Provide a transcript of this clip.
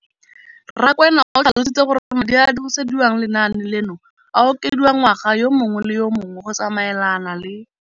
Rakwena o tlhalositse gore madi a a dirisediwang lenaane leno a okediwa ngwaga yo mongwe le yo mongwe go tsamaelana le